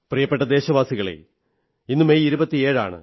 പ്രിയപ്പെട്ട ദേശവാസികളേ ഇന്ന് മെയ് 27 ആണ്